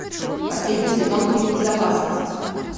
последний сезон фильм безопасность